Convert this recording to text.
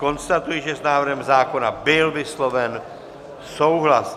Konstatuji, že s návrhem zákona byl vysloven souhlas.